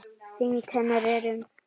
Þyngd hennar er um